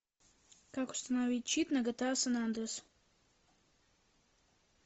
как установить чит на гта сан андреас